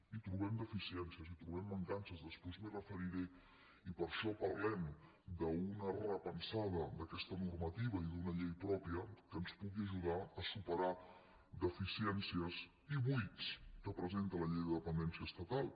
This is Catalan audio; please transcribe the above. hi trobem deficiències hi trobem mancances després m’hi referiré i per això parlem d’una repensada d’aquesta normativa i d’una llei pròpia que ens pugui ajudar a superar deficiències i buits que presenta la llei de dependència estatal